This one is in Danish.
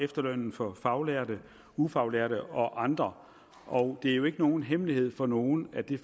efterlønnen for faglærte ufaglærte og andre og det er jo ikke nogen hemmelighed for nogen at det